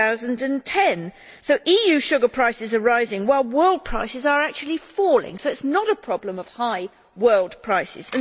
2010? EU sugar prices are rising while world prices are actually falling, so it is not a problem of high world prices.